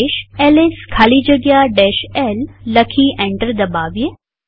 આદેશ એલએસ ખાલી જગ્યા l લખી એન્ટર દબાવીએ